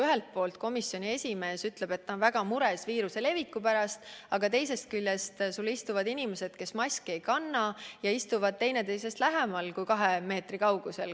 Ühelt poolt komisjoni esimees justkui ütleb, et ta on väga mures viiruse leviku pärast, aga teisest küljest istuvad seal inimesed, kes maski ei kanna, ja istuvad üksteisest vähem kui 2 meetri kaugusel.